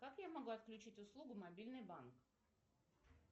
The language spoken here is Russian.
как я могу отключить услугу мобильный банк